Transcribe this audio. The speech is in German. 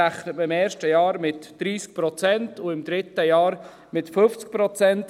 Man rechnet im ersten Jahr mit 30 Prozent und im dritten Jahr mit 50 Prozent.